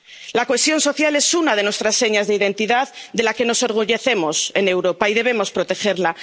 La cohesión social es una de nuestras señas de identidad, de la que nos orgullecemos en Europa, y debemos protegerla.